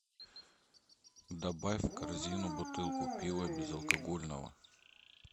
добавь в корзину бутылку пива безалкогольного